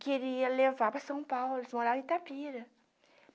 Queria levar para São Paulo, morar em Itapira.